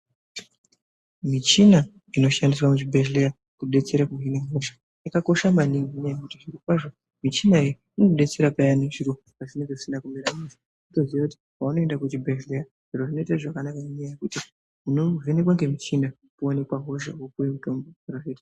Michina inoshandiswa kuzvibhedhlera kubetsera inobetsera kuhina hosha yakakosha maningi ngekuti zvirokwazvo michina iyi inobetsera peyani zviro pazvinenge zvisina kumira mushe wotoziva kuti paunoenda kuchibhedhlera zviro zvinoita zvakanaka ngenyaya yekuti unovenhekwa nemichina woonekwa hosha wopiwa mitombo .